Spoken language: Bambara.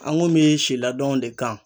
An ŋun be si ladɔn de kan